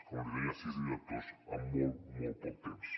com li deia sis directors en molt poc temps